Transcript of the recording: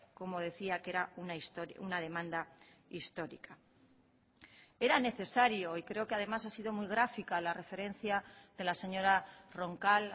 como decía que era una demanda histórica era necesario y creo que además ha sido muy gráfica la referencia de la señora roncal